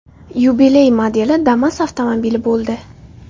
Yubiley modeli Damas avtomobili bo‘ldi.